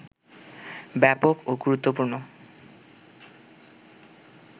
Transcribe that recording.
ব্যাপক ও গুরুত্বপূর্ণ